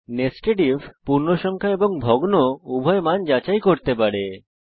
nested if পূর্ণসংখ্যা এবং ভগ্ন উভয় মান যাচাই করতে পারে